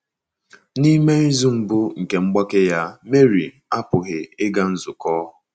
N’ime izu mbụ nke mgbake ya, Marie apụghị ịga nzukọ.